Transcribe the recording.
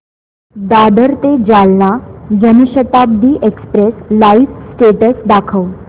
दादर ते Jalna Jan Shatabdi express live status दाखव